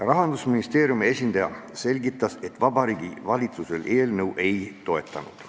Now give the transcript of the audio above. Rahandusministeeriumi esindaja selgitas, et Vabariigi Valitsus eelnõu ei toetanud.